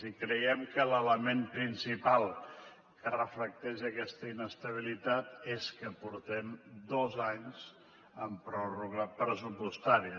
i creiem que l’element principal que reflecteix aquesta inestabilitat és que portem dos anys amb pròrroga pressupostària